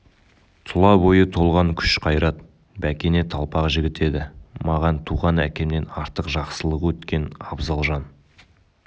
тұла бойы толған күш-қайрат бәкене талпақ жігіт еді маған туған әкемнен артық жақсылығы өткен абзал жан